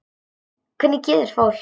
Hvernig getur fólk.